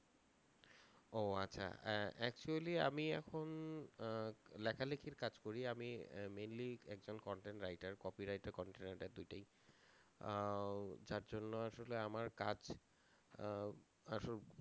ও আচ্ছা আহ actually আমি এখন আহ লেখালিখির কাজ করি আমি আহ mainly একজন content writer copy writer content writer দুইটাই আহ যার জন্য আসলে আমার কাজ আহ আহ